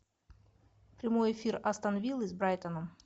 прямой эфир астон виллы с брайтоном